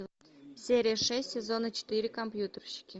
серия шесть сезона четыре компьютерщики